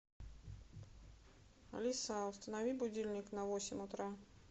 алиса установи будильник на восемь утра